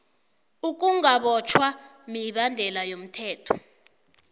ukungabotjhwa mibandela yomthetho